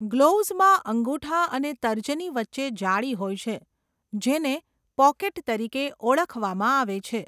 ગ્લોવ્સમાં અંગૂઠા અને તર્જની વચ્ચે જાળી હોય છે, જેને 'પોકેટ' તરીકે ઓળખવામાં આવે છે.